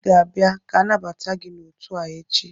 Ị ga-abịa ka anabata gị n'otu a echi!